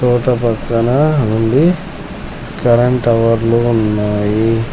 తోట పక్కన ఉంది కరెంట్ టవర్లు ఉన్నాయి.